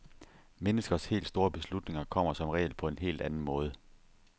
Menneskers helt store beslutninger kommer som regel på en helt anden måde.